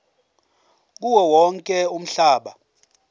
kuwo wonke umhlaba